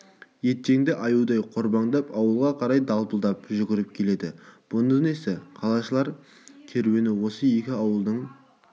етжеңді аюдай қорбаңдап ауылға қарай далпылдап жүгіріп келеді бұ несі қалашылар керуені осы екі ауылдың